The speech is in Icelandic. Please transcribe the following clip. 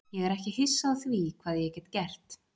Ég er ekki hissa á því hvað ég get gert.